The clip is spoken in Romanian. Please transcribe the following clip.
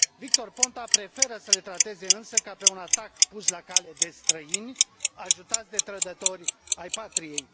Victor Ponta preferă să le trateze, însă, ca pe un atac pus la cale de străini, ajutați de trădători ai patriei.